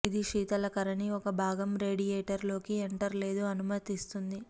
ఇది శీతలకరణి ఒక భాగం రేడియేటర్ లోకి ఎంటర్ లేదు అనుమతిస్తుంది